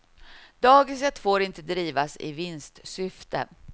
Dagiset får inte drivas i vinstsyfte.